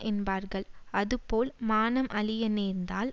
என்பார்கள் அதுபோல் மானம் அழிய நேர்ந்தால்